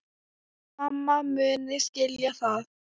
Mamma muni skilja það.